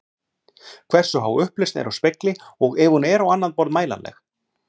Hversu há upplausn er á spegli og ef hún er á annað borð mælanleg?